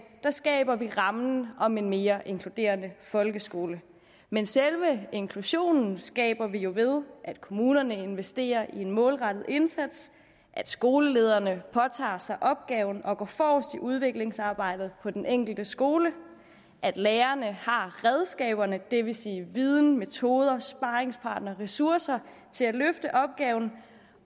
skaber vi rammen om en mere inkluderende folkeskole men selve inklusionen skaber vi jo ved at kommunerne investerer i en målrettet indsats at skolelederne påtager sig opgaven med at gå forrest i udviklingsarbejdet på den enkelte skole at lærerne har redskaberne det vil sige viden metoder sparringspartnere og ressourcer til at løfte opgaven